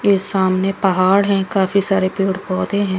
ये सामने पहाड है काफी सारे पेड़-पोधे है।